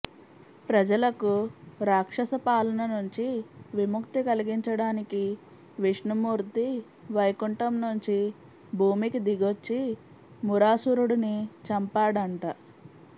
ప్రజలకు రాక్షస పాలన నుంచి విముక్తి కలిగించడానికి విష్ణుమూర్తి వైకుంఠం నుంచి భూమికి దిగొచ్చి మురాసురుడిని చంపాడంట